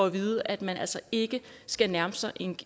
vide at man altså ikke skal nærme sig